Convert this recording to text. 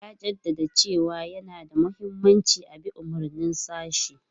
Ya jaddada cewa yana da mahimmanci a bi umarnin sashi.